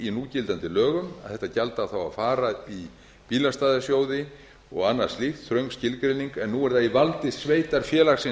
í núgildandi lögum að þetta gjald á þá að fara í bílastæðasjóði og annað slíkt þröng skilgreining en nú er það í valdi sveitarfélagsins